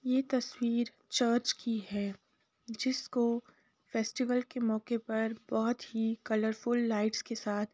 ये तस्वीर चर्च की है जिसको फेस्टिवल के मौके पर बहुत ही कलरफुल लाइट्स के साथ --